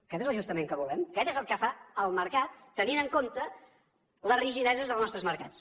aquest és l’ajustament que volem aquest és el que fa el mercat tenint en compte les rigideses dels nostres mercats